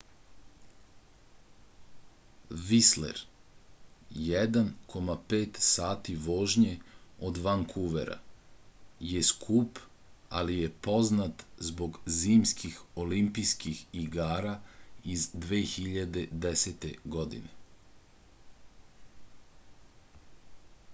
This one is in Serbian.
вислер 1,5 сати вожње од ванкувера је скуп али је познат због зимских олимпијских игара из 2010. године